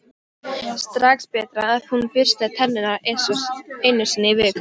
Strax betra ef hún burstaði tennurnar einu sinni í viku.